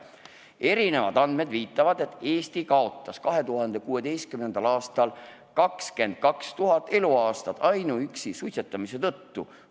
Erinevad andmed viitavad, et Eesti kaotas 2016. aastal 22 000 eluaastat ainuüksi suitsetamise tõttu.